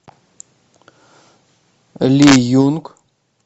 ли юнг